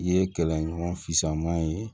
I ye kɛlɛɲɔgɔn famo ye